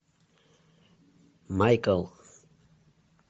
майкл